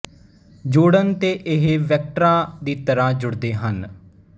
ਜੋੜਨ ਤੇ ਇਹ ਵੈਕਟਰਾਂ ਦੀ ਤਰਾਂ ਜੁੜਦੇ ਹਨ